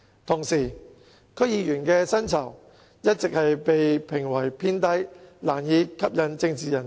同時，區議員的薪酬一直被批評為偏低，難以吸引政治人才。